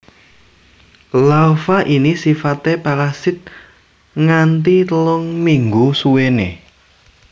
Larva ini sifaté parasit nganti telung minggu suwené